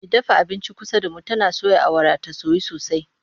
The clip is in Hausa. Mai sayar da abincin kusa da mu tana soya awara ta soyu sosai.